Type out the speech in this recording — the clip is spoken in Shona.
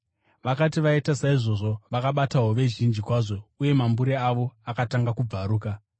Vakati vaita saizvozvo, vakabata hove zhinji kwazvo uye mambure avo akatanga kubvaruka.